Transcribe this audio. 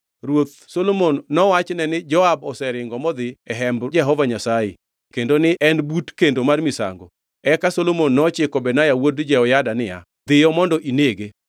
Ruoth Solomon nowachne ni Joab oseringo modhi e hemb Jehova Nyasaye kendo ni ne en but kendo mar misango. Eka Solomon nochiko Benaya wuod Jehoyada niya, “Dhiyo mondo inege.”